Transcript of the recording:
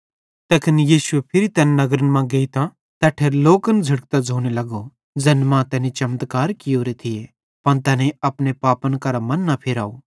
तैखन यीशु फिरी तैन नगरन मां गेइतां तैट्ठेरे लोकन झ़िड़कतां ज़ोने लगो ज़ैन मां तैनी चमत्कार कियोरे थी पन तैनेईं अपने पापन करां मन न फिराव